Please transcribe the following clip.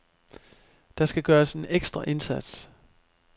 Der skal gøres en ekstra indsats.